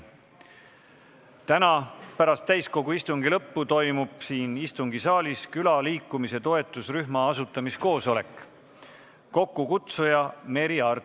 Täna pärast täiskogu istungit toimub siin istungisaalis külaliikumise toetusrühma asutamise koosolek, kokkukutsuja Merry Aart.